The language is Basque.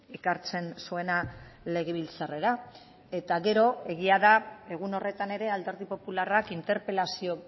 ekartzen zuena legebiltzarrera eta gero egia da egun horretan ere alderdi popularrak interpelazio